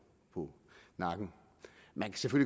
på nakken man kan